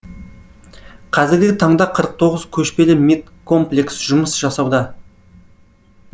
қазіргі таңда қырық тоғыз көшпелі медкомплекс жұмыс жасауда